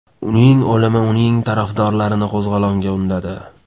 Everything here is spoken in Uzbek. Uning o‘limi uning tarafdorlarini qo‘zg‘olonga undadi.